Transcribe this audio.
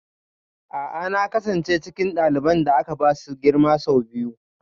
A'a na kasance cikin ɗaliban da aka ba su girma sau biyu